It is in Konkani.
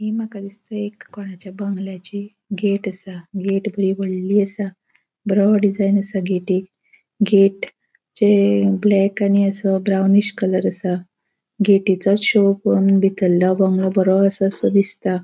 हि मका दिसता एक कॉनचा बंगल्याची गेट असा गेट बोरी वोडली असा बोड़ो डिजाइन असा गेटिक गेट चे ब्लॅक आणि असो ब्राउनिश कलर असा गेटीसों बितरलों बोरो असासो दिसता.